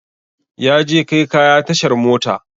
Yaje kai kaya tashar mota